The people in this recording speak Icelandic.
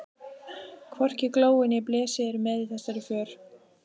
Hvorki Glói né Blesi eru með í þessari för.